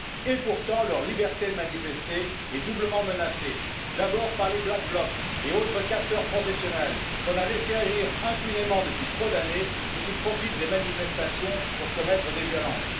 Et pourtant, leur liberté de manifester est doublement menacée d'abord par les black blocs et autres casseurs professionnels, qu'on a laissé agir impunément depuis trop d'années et qui profitent des manifestations pour commettre des violences